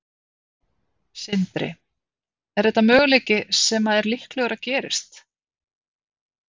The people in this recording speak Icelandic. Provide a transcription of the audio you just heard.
Sindri: Er þetta möguleiki sem að er líklegur að gerist?